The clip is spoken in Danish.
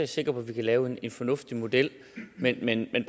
sikker på at vi kan lave en fornuftig model men jeg